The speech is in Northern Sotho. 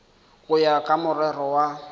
go ya ka morero wa